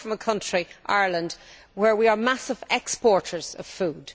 I come from a country Ireland where we are massive exporters of food.